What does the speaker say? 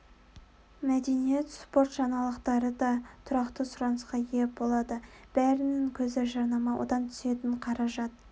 мәдениет спорт жаңалықтары да тұрақты сұранысқа ие болады бәрінің көзі жарнама одан түсетін қаражат